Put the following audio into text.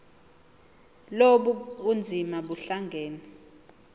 lobu bunzima buhlangane